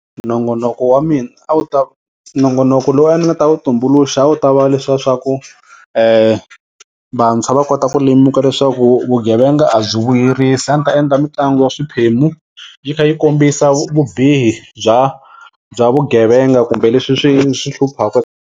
Nongonoko wa mina a wu ta nongonoko lowu a ni ta wu tumbuluxa a wu ta va leswiya swaku vantshwa va kota ku lemuka leswaku vugevenga a byi vuyerisi a ndzi ta endla mitlangu ya swiphemu yi kha yi kombisa vubihi bya bya vugevenga kumbe leswi swi hluphaka.